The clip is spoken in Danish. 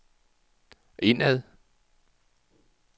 indad